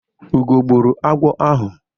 Ugo gbụrụ agwọ ahụ.